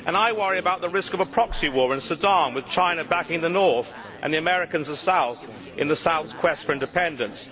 I worry about the risk of a proxy war in Sudan, with China backing the north and the Americans the south, in the south's quest for independence.